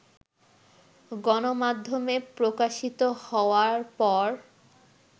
গণমাধ্যমে প্রকাশিত হওয়ার পর